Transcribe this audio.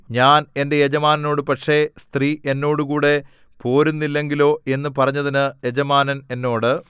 ഞാൻ എന്റെ യജമാനനോട് പക്ഷേ സ്ത്രീ എന്നോടുകൂടെ പോരുന്നില്ലെങ്കിലോ എന്നു പറഞ്ഞതിന് യജമാനൻ എന്നോട്